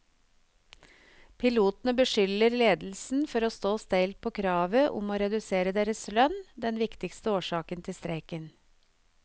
Pilotene beskylder ledelsen for å stå steilt på kravet om å redusere deres lønn, den viktigste årsak til streiken.